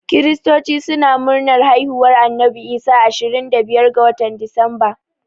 Kiristoci suna murnar haihuwar Annabi Isa ashirin da biyar ga watan Disamba